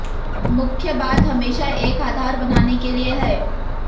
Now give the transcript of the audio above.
मुख्य बात हमेशा एक आधार बनाने के लिए है